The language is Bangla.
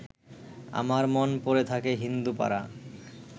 আমার মন পড়ে থাকে হিন্দুপাড়া